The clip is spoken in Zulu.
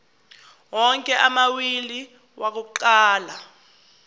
onke amawili akuqala